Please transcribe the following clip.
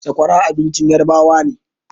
Sakwara abincin yarabawa ne